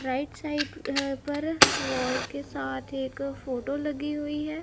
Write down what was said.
Right side अह पर wall के साथ एक फोटो लगी हुई है।